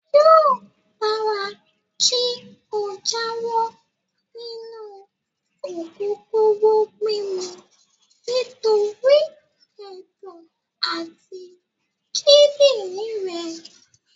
Yóò dára kí o jáwọ́ nínú ògógóró mímu nítorí ẹ̀dọ̀ àti kídìrín rẹ.